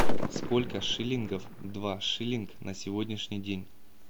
сколько шиллингов два шиллинг на сегодняшний день